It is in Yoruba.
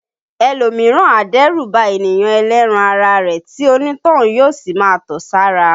Ẹlòmíràn a dẹ́rù ba ènìyàn ẹlẹ́ran ara rẹ̀ tí onítọ̀hún yó sì máa tọ̀ sára